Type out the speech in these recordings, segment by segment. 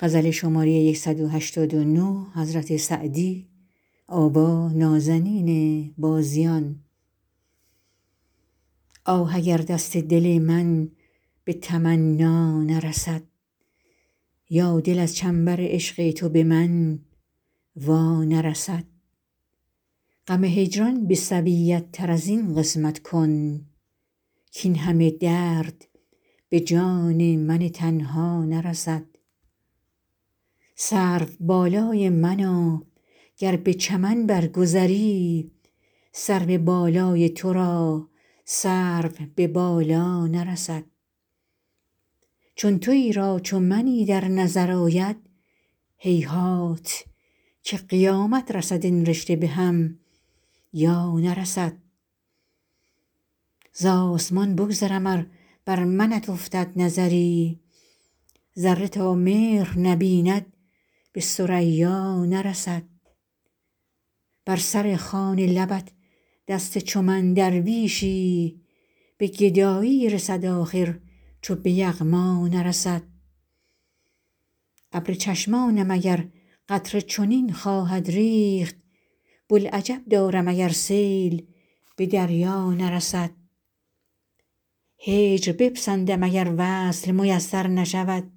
آه اگر دست دل من به تمنا نرسد یا دل از چنبر عشق تو به من وا نرسد غم هجران به سویت تر از این قسمت کن کاین همه درد به جان من تنها نرسد سروبالای منا گر به چمن بر گذری سرو بالای تو را سرو به بالا نرسد چون تویی را چو منی در نظر آید هیهات که قیامت رسد این رشته به هم یا نرسد زآسمان بگذرم ار بر منت افتد نظری ذره تا مهر نبیند به ثریا نرسد بر سر خوان لبت دست چو من درویشی به گدایی رسد آخر چو به یغما نرسد ابر چشمانم اگر قطره چنین خواهد ریخت بوالعجب دارم اگر سیل به دریا نرسد هجر بپسندم اگر وصل میسر نشود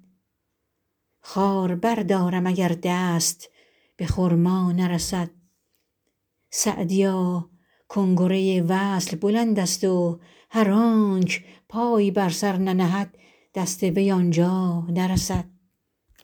خار بردارم اگر دست به خرما نرسد سعدیا کنگره وصل بلندست و هر آنک پای بر سر ننهد دست وی آن جا نرسد